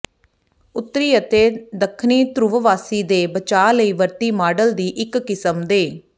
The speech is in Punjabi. ਉੱਤਰੀ ਅਤੇ ਦੱਖਣੀ ਧਰੁੱਵਵਾਸੀ ਦੇ ਬਚਾਅ ਲਈ ਵਰਤੀ ਮਾਡਲ ਦੀ ਇੱਕ ਕਿਸਮ ਦੇ